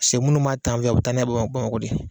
Se minnu b'a ta an fɛ yan u bɛ taa n'a ye Bamakɔ de